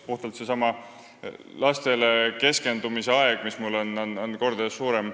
Puhtalt lastele keskendumise aeg on mul kordades suurem.